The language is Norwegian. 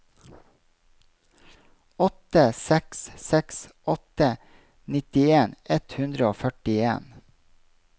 åtte seks seks åtte nittien ett hundre og førtien